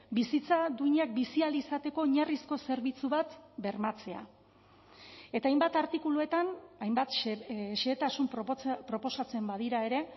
bizitza duinak bizi ahal izateko oinarrizko zerbitzu bat bermatzea eta hainbat artikuluetan hainbat zehetasun proposatzen badira ere